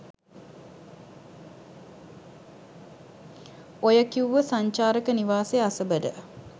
ඔය කිව්ව සංචාරක නිවාසය අසබඩ